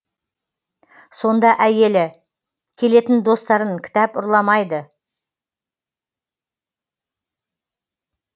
сонда әйелі келетін достарын кітап ұрламайды